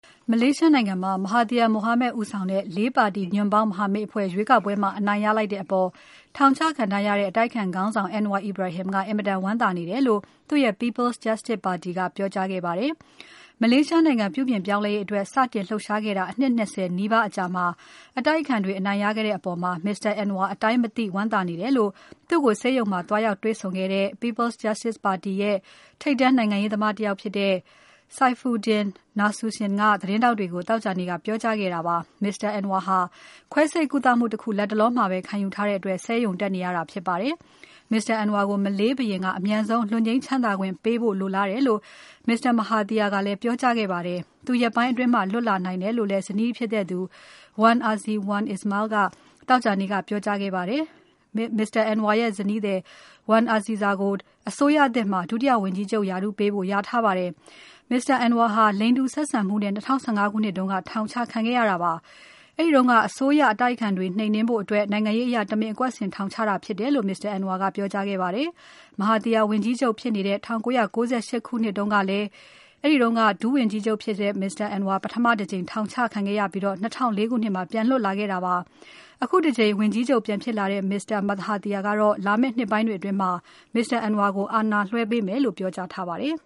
မလေးရှားနိုင်ငံမှာ Mahathir Mohamad ဦးဆောင်တဲ့ ၄ ပါတီညွန့်ပေါင်းမဟာမိတ်တွေ ရွေးကောက်ပွဲမှာ အနိုင်ရလိုက်တဲ့အပေါ် ထောင်ချခံထားရတဲ့ အတိုက်အခံခေါင်းဆောင် Anwar Ibrahim ကအင်မတန် ဝမ်းသာနေတယ်လို့ သူ့ရဲ့ People's Justice Party ကပြောကြားခဲ့ပါတယ်။ မလေးရှားနိုင်ငံ ပြုပြင်ပြောင်းလဲရေးအတွက် စတင်လှုပ်ရှားခဲ့တာ အနှစ် ၂၀ နီးပါးအကြာမှာ အတိုက်အခံတွေ အနိုင်ရခဲ့တဲ့အပေါ် Mr. Anwar အတိုင်းမသိ ဝမ်းသာနေတယ်လို့ သူ့ကို ဆေးရုံမှာသွားရောက်တွေ့ဆုံခဲ့တဲ့ People's Justice Party ပါတီရဲ့ ထိပ်တန်းနိုင်ငံရေးသမားတယောက်ဖြစ်တဲ့ Saifuddin Nasution ကသတင်းထောက်တွေကို သောကြာနေ့က ပြောကြားခဲ့တာပါ။ Mr. Anwar ဟာ ခွဲစိတ်ကုသမှုတခု လတ်တလောမှာပဲ ခံယူထားတဲ့အတွက် ဆေးရုံတက်နေရတာဖြစ်ပါတယ်။ Mr. Anwar ကို မလေးဘုရင်က အမြန်ဆုံး လွတ်ငြိမ်းချမ်းသာခွင့်ပေးဖို့လိုလားတယ်လို့ Mr. Mahathir ကလည်း ပြောကြားခဲ့ပါတယ်။ သူရက်ပိုင်းအတွင်းလွတ်လာနိုင်တယ်လို့ ဇနီးဖြစ်သူ Wan Azizah Wan Ismail ကလည်း သောကြာနေ့က ပြောကြားခဲ့ပါတယ်။ Mr. Anwar ရဲ့ဇနီး Wan Azizah ကို အစိုးရသစ်မှာ ဒုဝန်ကြီးချုပ်ရာထူးပေးဖို့ လျာထားပါတယ်။ Mr. Anwar ဟာ လိင်တူဆက်ဆံမှုနဲ့ ၂၀၁၅ ခုနှစ်တုန်းက ထောင်ချခံခဲ့ရတာပါ။ အဲဒီတုန်းက အစိုးရက အတိုက်အခံတွေနှိမ်နှင်းဖို့ အတွက် နိုင်ငံရေးအရ တမင်အကွက်ဆင်ထောင်ချတာဖြစ်တယ်လို့ Mr. Anwar ကပြောကြားခဲ့ပါတယ်။ Mahathir ဝန်ကြီးချုပ်ဖြစ်နေတဲ့ ၁၉၉၈ ခုနှစ်တုန်းကလည်း အဲဒီက ဒုဝန်ကြီးချုပ် Mr. Anwar ပထမတကြိမ် ထောင်ချခံခဲ့ရပြီး ၂၀၀၄ ခုနှစ်မှာ ပြန်လွတ်လာခဲ့တာဖြစ်ပါတယ်။ အခုတကြိမ် ဝန်ကြီးချုပ်ပြန်ဖြစ်လာတဲ့ Mr. Mahathir က လာမယ့်နှစ်ပိုင်းတွေအတွင်း Mr. Anwar ကိုအာဏာလွှဲပေးမယ်လို့ ပြောကြားထားပါတယ်